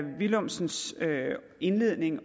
villumsens indledning